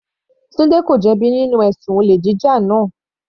Tunde ko jẹ bi nínú ẹ̀sùn olè jíjà náà.